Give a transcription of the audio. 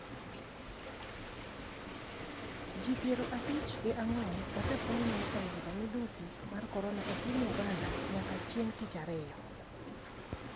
Ji piero abich gi ang'wen osefweny ni oyudo midhusi mar Korona e piny Uganda nyaka chieng' tich ariyo.